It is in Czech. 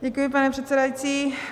Děkuji, pane předsedající.